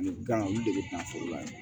Ani gan olu de bɛ na foro la yan